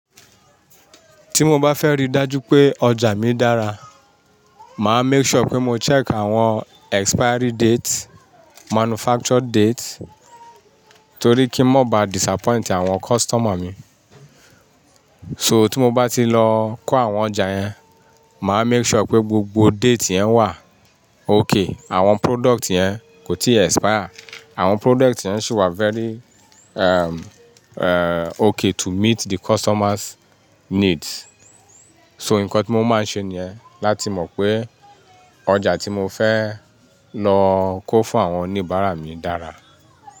Tí mo bá fẹ́ rí dájú pé ọjà mi dára, máa make sure pé mo check àwọn expiry date, manufacture date, torí kí n mó bá disappoint àwọn customer mi. So tí mo bá ti lọ kó àwọn ọjà yẹn, màá make sure pé gbogbo date yẹn wà okay. Àwọn product yẹn kò tí expire, àwọn product yẹn sì wà very, okay to meet the customers' needs. So nǹkan tí mo máa ń ṣe ni yẹ́n, láti mọ̀ pé ọjà tí mo fẹ́ lọ kó fún àwọn oníbàárà mi dára.